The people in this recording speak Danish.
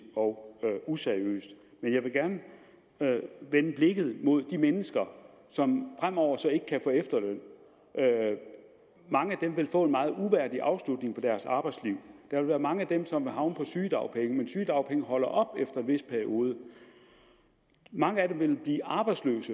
og useriøst men jeg vil gerne vende blikket mod de mennesker som fremover så ikke kan få efterløn mange af dem vil få en meget uværdig afslutning på deres arbejdsliv der vil være mange af dem som vil havne på sygedagpenge men sygedagpenge holder op efter en vis periode mange af dem vil blive arbejdsløse